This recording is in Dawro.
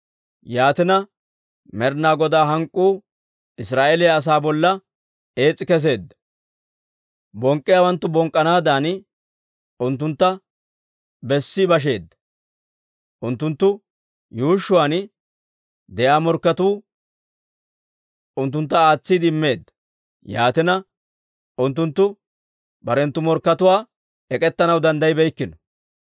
Yaatina, Med'inaa Godaa hank'k'uu Israa'eeliyaa asaa bolla ees's'i kesseedda; bonk'k'iyaawanttu bonk'k'anaadan unttuntta bessi basheedda; unttunttu yuushshuwaan de'iyaa morkketoo unttuntta aatsiide immeedda. Yaatina, unttunttu barenttu morkkatuwaanna ek'ettanaw danddayibeykkino.